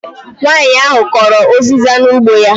Nwanyi ahụ kọrọ uziza n'ugbo ya